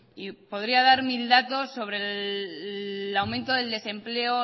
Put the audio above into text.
y podría dar mil datos sobre el aumento del desempleo